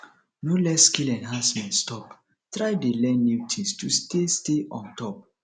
no let skill enhancement stop try dey learn new things to stay stay on top